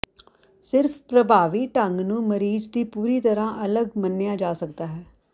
ਸਿਰਫ ਪ੍ਰਭਾਵੀ ਢੰਗ ਨੂੰ ਮਰੀਜ਼ ਦੀ ਪੂਰੀ ਤਰ੍ਹਾਂ ਅਲੱਗ ਮੰਨਿਆ ਜਾ ਸਕਦਾ ਹੈ